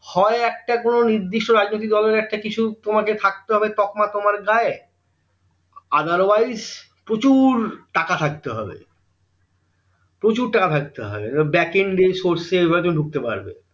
হয় একটা কোনো নির্দিষ্ট রাজনৈতিক দলের একটা কিছু তোমাকে থাকতে হবে তকমা তোমার গায়ে otherwise প্রচুর টাকা থাকতে হবে প্রচুর টাকা থাকতে হবে baking source এইভাবে তুমি ঢুকতে পারবে